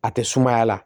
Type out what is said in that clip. A tɛ sumaya la